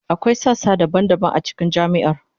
Akwai sassa daban-daban a cikin jami'ar.